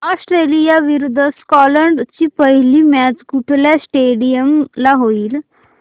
Australia विरुद्ध Scotland ची पहिली मॅच कुठल्या स्टेडीयम ला होईल